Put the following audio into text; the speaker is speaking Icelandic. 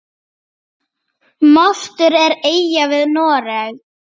Mostur er eyja við Noreg.